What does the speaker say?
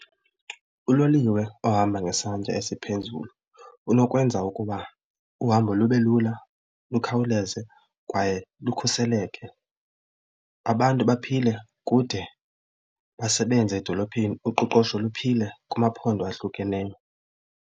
Uloliwe ohamba ngesantya esiphezulu unokwenza ukuba uhambo lube lula lukhawuleze kwaye lukhuseleke, abantu baphile kude basebenze edolophini uqoqosho luphile kumaphondo ahlukeneyo.